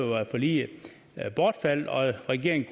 var forliget bortfaldet og regeringen